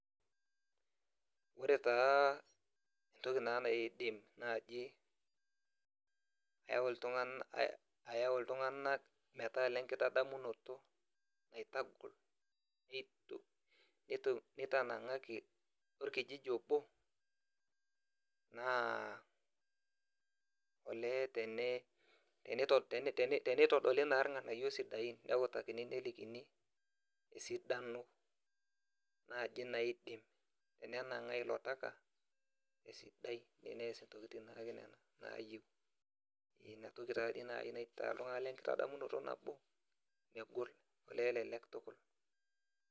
Ore taa entoki na naidim naji ayau ltunganak metaa lenkitadamunoto nitangaki orkijiji obo naa ole tene te tenitodoli nai yiol sidain, neatakini nelikini esidano nai naidim enanangaa ilo taka esidai teneas nai entoki nayieu, inatoki nai enkitadamunoto nabo megol elee elelek tukul.